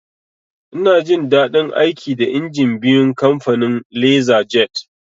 Ina jin daɗin aiki da injin biyun kamfanin "Lasar jet"